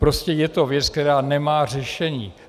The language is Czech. Prostě je to věc, která nemá řešení.